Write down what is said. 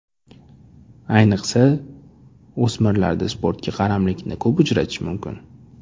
Ayniqsa, o‘smirlarda sportga qaramlikni ko‘p uchratish mumkin.